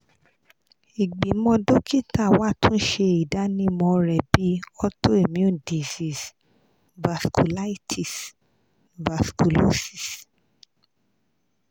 igbimọ dokita wa tun ṣe idanimọ rẹ bi auto immune disorder (vasculitis / vasculosis?)